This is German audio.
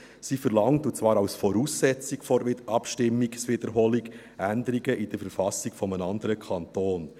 Sie verlangt – und zwar als Voraussetzung der Abstimmungswiederholung – Änderungen in der Verfassung eines anderen Kantons.